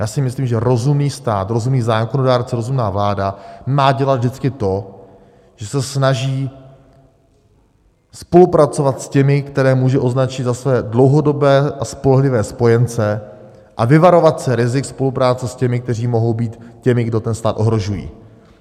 Já si myslím, že rozumný stát, rozumný zákonodárce, rozumná vláda má dělat vždycky to, že se snaží spolupracovat s těmi, které může označit za své dlouhodobé a spolehlivé spojence, a vyvarovat se rizik spolupráce s těmi, kteří mohou být těmi, kdo ten stát ohrožují.